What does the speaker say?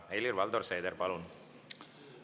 Helir-Valdor Seeder, palun!